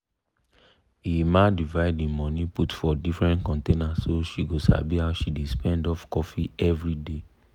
emma divide e money put for different container so she go sabi how she dey spend of coffee everyday.